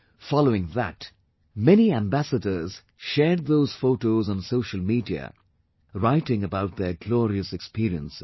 Following that, many Ambassadors shared those photos on social media, writing about their glorious experiences